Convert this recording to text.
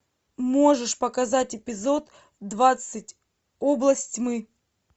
можешь показать эпизод двадцать области тьмы